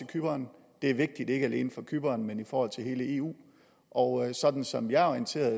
cypern det er vigtigt ikke alene for cypern men for hele eu og sådan som jeg er orienteret